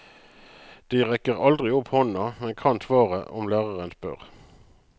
De rekker aldri opp hånda, men kan svaret om læreren spør.